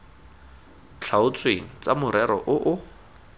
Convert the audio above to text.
tlhaotsweng tsa morero o o